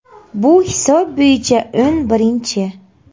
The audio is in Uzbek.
Bu hisob bo‘yicha o‘n birinchi.